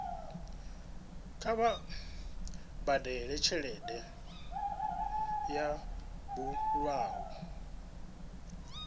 kha vha badele tshelede yo bulwaho